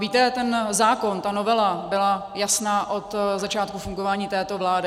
Víte, ten zákon, ta novela byla jasná od začátku fungování této vlády.